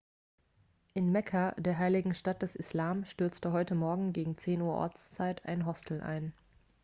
in mekka der heiligen stadt des islam stürzte heute morgen gegen 10 uhr ortszeit ein hostel ein